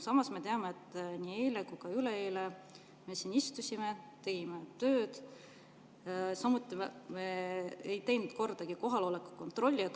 Samas me teame, et nii eile kui ka üleeile me istusime siin, tegime tööd, ja me ei teinud kordagi kohaloleku kontrolli.